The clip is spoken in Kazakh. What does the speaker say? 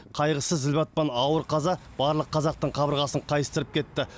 қайғысы зілбатпан ауыр қаза бар қазақтың қабырғасын қайыстырып кетті